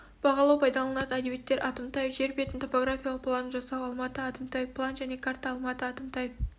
бағалау пайдаланылатын әдебиеттер атымтаев жер бетінің топографиялық планын жасау алматы атымтаев план және карта алматы атымтаев